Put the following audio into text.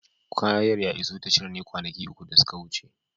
Kayan ya iso tashar ne kwanaki uku da suka wuce.